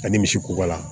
Ani misi kubala